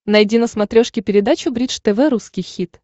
найди на смотрешке передачу бридж тв русский хит